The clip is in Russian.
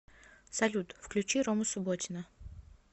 салют включи рому субботина